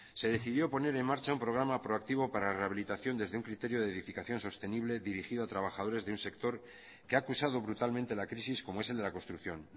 se decidió poner en marcha un programa proactivo para rehabilitación desde un criterio de edificación sostenible dirigido a trabajadores de un sector que ha acusado brutalmente la crisis como es el de la construcción